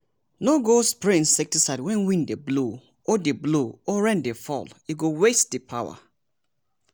no go spray insecticide when wind dey blow or dey blow or rain dey fall e go waste the power.